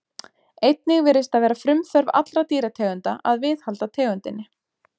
Einnig virðist það vera frumþörf allra dýrategunda að viðhalda tegundinni.